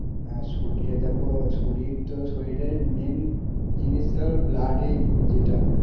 হ্যাঁ শরীরে দেখো শরীর তো শরীরে main জিনিস তো blood এই যেটা